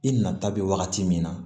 I nata bɛ wagati min na